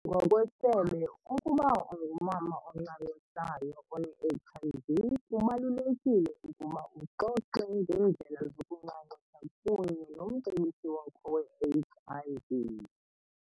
Ngokwesebe, ukuba ungumama oncancisayo one-HIV, kubalulekile ukuba uxoxe ngeendlela zokuncancisa kunye nomcebisi wakho we-HIV .